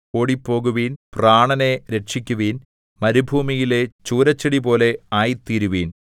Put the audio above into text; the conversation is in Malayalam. ഓടിപ്പോകുവിൻ പ്രാണനെ രക്ഷിക്കുവിൻ മരുഭൂമിയിലെ ചൂരൽച്ചെടിപോലെ ആയിത്തീരുവിൻ